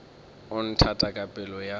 o nthata ka pelo ya